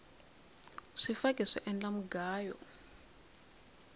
swifaki swi endla mugayo